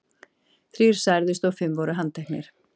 Þrír særðust og fimm voru handteknir.